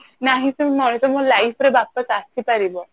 ନା ହିଁ ସେ moment ମୋ life ରେ ୱାପସ ଆସିପାରିବ